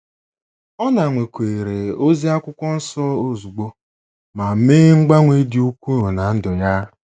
Ọ nakweere ozi akwụkwọ nsọ ozugbo ma mee mgbanwe dị ukwuu ná ndụ ya.